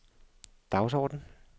dagsorden